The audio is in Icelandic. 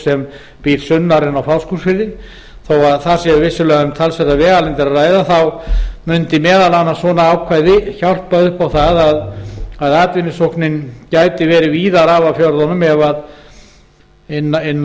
sem býr sunnar en á fáskrúðsfirði þó þar sé vissulega um talsverðar vegalengdir að ræða mundi meðal annars svona ákvæði hjálpa upp á það að atvinnusóknin gæti verið víðar af fjörðunum inn